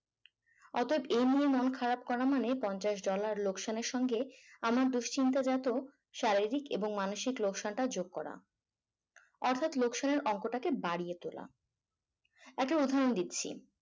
অর্থাৎ এই নিয়ে মন খারাপ করা মানে পঞ্চাশ dollar লোকসানের সঙ্গে আমি দুশ্চিন্তা যাত শারীরিক এবং মানসিক লোকসানটা যোগ করা অর্থাৎ লোকসানের অংশটাকে বাড়িয়ে তোলা। একটা উদাহরণ দিচ্ছি